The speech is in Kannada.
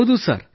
ಹೌದು ಸರ್